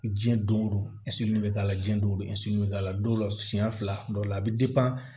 Jiyɛn don o don bɛ k'a la jiɲɛ don bɛ k'a la dɔw la siyɛn fila dɔ la a bɛ